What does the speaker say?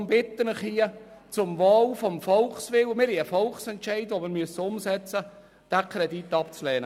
Ich bitte Sie deshalb, zum Wohl des Volkswillens – wir haben einen Volksentscheid, den wir umsetzen müssen – diesen Kredit abzulehnen.